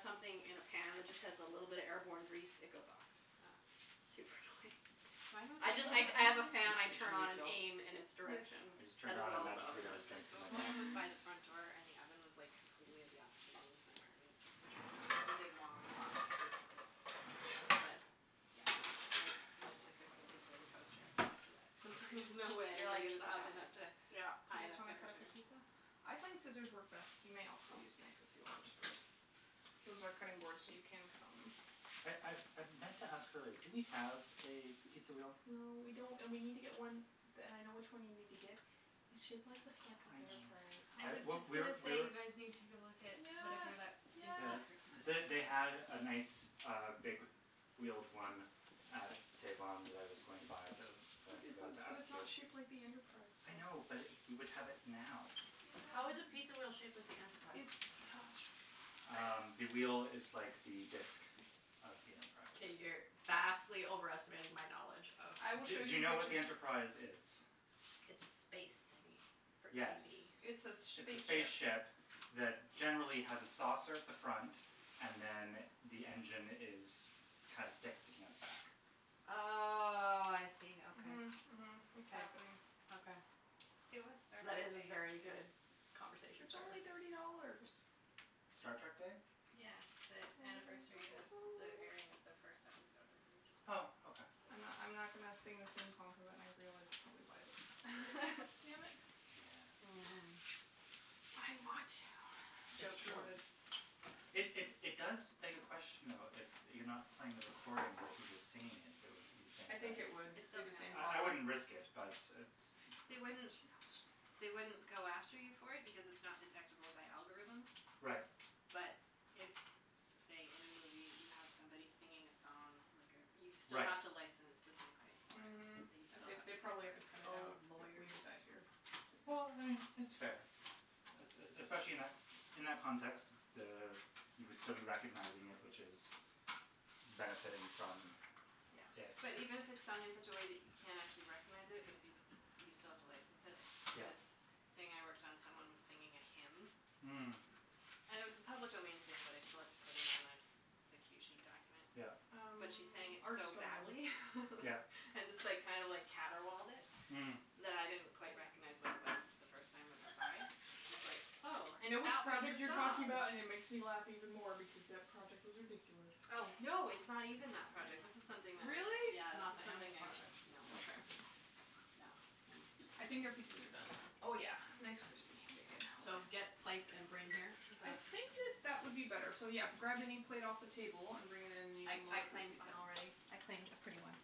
something in a pan that just has a little bit of airborne grease, it goes off. Oh. Super annoying. Mine I was, just like I d- I have a fan I Did did you turn on and refill? aim in its Yes. direction I just turned as around and well as the magically oven there hood. was The drinks in my smoke glass. alarm was by the front door and the oven was, like, completely at the opposite end of my apartment which was, like, just a big long box, basically. But, yeah, I went to cooking pizza in the toaster oven after that cuz it was like, "There's no way You're I'm like getting "It's this not oven happening." up to Yeah. Do you high guys enough wanna cut up temperature" your pizza? I find scissors work best. You may also use knife if you want but those are cutting boards, so you can cut on them. I I I meant to ask earlier, do we have a pizza wheel? No, we don't, and we need to get one, d- and I know which one you need to get. It's shaped like the Star Trek I know. Enterprise. I I, was we, just we're, gonna say we're you guys need to go look at whatever that, Yeah, Think yeah. Yes. Geeks or something. They, they had a nice, uh, big wheeled one at Save On that I was going to buy, but I feel then like I it was, forgot to but ask it's you. not shaped like the Enterprise, so I know, but we would have it now. I know How but is a pizza wheel shaped like the It's Enterprise? Um, the wheel is like the disk of the Enterprise. Okay, you're vastly overestimating my knowledge of I will Do show do you you know what what the you're Enterprise is? It's a space thingy for Yes, TV. It's a s- sh- it's a spaceship. spaceship that generally has a saucer at the front and then the engine is, kinda sticks, sticking out the back. Oh, I see, okay. Mhm, mhm. It's happening. Okay. It was Star That Trek is a Day very yesterday. good conversation It's starter. only thirty dollars. Star Trek Day? Yeah, the anniversary of the airing of the first episode of the original series. Oh, okay. I'm not, I'm not gonna sing the theme song cuz then I've realized it probably violates copyright. Damn it. Yeah. Mm. But I want to. It's Joke true. thwarted. It, it, it does beg a question, though, if you're not playing the recording, but if you're just singing it, if it would be the same I thing. think it would It be still the same counts. I, I problem. wouldn't risk it, but it's They wouldn't, She knows. they wouldn't go after you for it because it's not detectable by algorithms. Right. But if, say, in a movie you have somebody singing a song, like a, you still Right. have to license the sync rights for Mhm, it. That you still they, have they put probably have to the cut it Oh, out if we lawyers. did that here. Well, I mean, it's fair. Es- e- especially in that, in that context, s- the, you would still be recognizing it, which is benefiting from Yeah, it. but even if it's sung in such a way that you can't actually recognize it but if you, you still have to license it, like Yeah. this thing I worked on, someone was singing a hymn. Mm. And it was a public domain thing, but I still had to put it on the the cue sheet document. Yeah. Um, But she sang it ours are so still in the oven. badly. Yeah. And just, like, kind of like caterwauled it Mm. that I didn't quite recognize what it was the first time it went by. I was like, oh, I know which that was project you're the talking song. about and it makes me laugh even more because that project was ridiculous. Oh. No, it's not even that project. This is something that was Really? Yeah, this Not is the animal something I, project? no Okay. No. Oh. Hm. I think our pizzas are done. Oh yeah, nice, crispy, bacon So, get plates and bring here, is I that? think that that would be better. So, yeah, grab any plate off the table and bring it in and you I, can I load up your claimed mine pizza. already. I claimed a pretty one.